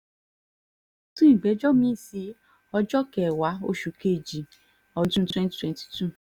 sun ìgbẹ́jọ́ mi-ín sí ọjọ́ kẹwàá oṣù kejì ọdún twenty twenty two